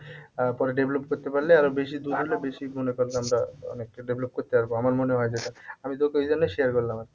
আহ পরে develop করতে পারলে আরো বেশি দুধ হলে বেশি গুনে অনেকটা develop করতে পারবো আমার মনে হয় যেটা আমি তোকে ওই জন্যই share করলাম আরকি